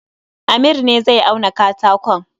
Amir ne zai auna katakon